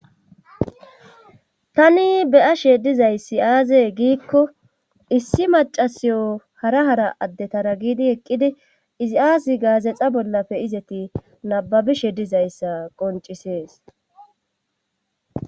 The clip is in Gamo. tani beya she dizayssi aazee giikko issi macasiyo hara hara addetara giidi eqqidi izi aasi gaazexa bollafe izati nababishe dizayssa qoncisees